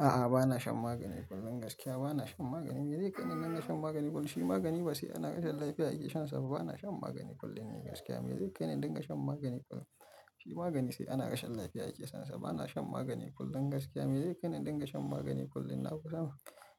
A'a, bana shan magani kullum gaskiya bana shan magani. Me zai kai ni dinga shan magani kullum? Shi magani ba sai ana rashin lafiya ake shansa ba. Bana shan magani kullum ni gaskiya. Me zai kai ni in dinga shan magani kullum? Shi magani sai ana rashin lafiya ake shansa. Bana shan magani kullum gaskiya. Me zai kai ni don in shan magani kullum? Na kusa